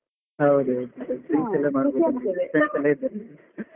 ಹೌದೌದು ಹೌದು friends ಎಲ್ಲ ಇದ್ದಾರೆ .